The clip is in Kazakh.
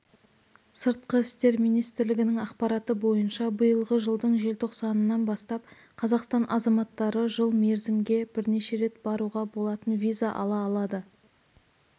сыртқы істер министрлігінің ақпараты бойынша биылғы жылдың желтоқсанынан бастап қазақстан азаматтары жыл мерзімге бірнеше рет баруға болатын виза ала алады